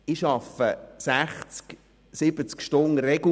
Ich arbeite regelmässig 60 bis 70 Stunden wöchentlich.